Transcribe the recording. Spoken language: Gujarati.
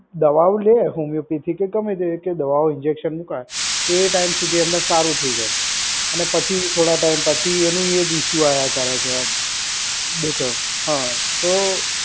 દવાઓ લે હોમિયોપેથી કેગમે તે કે દવાઓ ઇન્જેકશન મુકાય તો એ ટાઈમ સુધી એમને સારું થઈ જાય અને પછી થોડા ટાઈમ પછી એનું એ જ ઇસ્યુ આયા કરે છે. દુખે હા તો